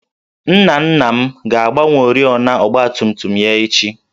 Nna nna m ga-agbanwe oriọna ọgbatumtum ya echi